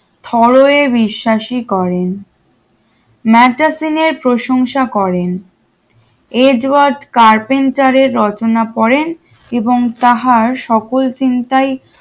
ফরে বিশ্বাসী করেন মাদ্রাজিনের প্রশংসা করেন এজ ওয়াট কার্পেন্টারের রচনা করেন এবং তাহার সকল চিন্তাই